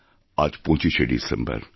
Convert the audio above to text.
আজ ২৫শে ডিসেম্বর